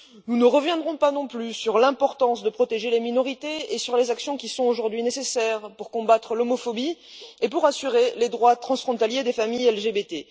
Nous ne reviendrons pas sur l'importance de protéger les minorités et sur les actions qui sont aujourd'hui nécessaires pour combattre l'homophobie et pour assurer les droits transfrontaliers des familles LGBT.